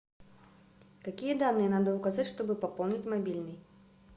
какие данные надо указать чтобы пополнить мобильный